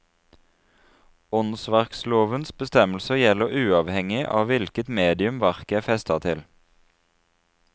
Åndsverklovens bestemmelser gjelder uavhengig av hvilket medium verket er festet til.